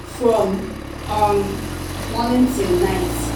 from um morning till night.